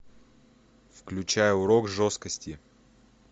включай урок жесткости